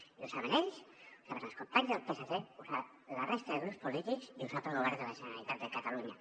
i ho saben ells ho saben els companys del psc ho sap la resta de grups polítics i ho sap el govern de la generalitat de catalunya